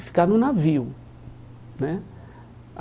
e ficar no navio né